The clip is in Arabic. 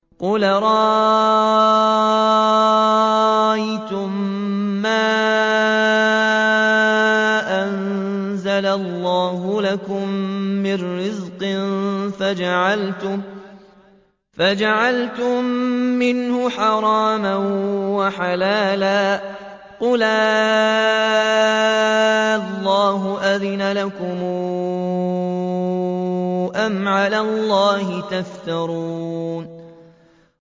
قُلْ أَرَأَيْتُم مَّا أَنزَلَ اللَّهُ لَكُم مِّن رِّزْقٍ فَجَعَلْتُم مِّنْهُ حَرَامًا وَحَلَالًا قُلْ آللَّهُ أَذِنَ لَكُمْ ۖ أَمْ عَلَى اللَّهِ تَفْتَرُونَ